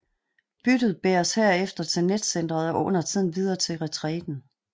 Byttet bæres herefter til netcentret og undertiden videre til retræten